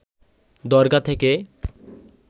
দরগা থেকে